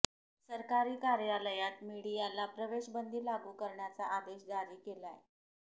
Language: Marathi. सरकारी कार्यालयात मीडियाला प्रवेश बंदी लागू करण्याचा आदेश जारी केलाय